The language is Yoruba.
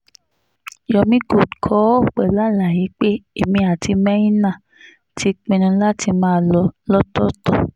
yomi gold kọ ọ́ pẹ̀lú àlàyé pé èmi àtimeinah ti pinnu láti máa lọ lọ́tọ̀ọ̀tọ̀